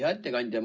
Hea ettekandja!